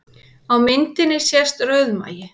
Á myndinni sést rauðmagi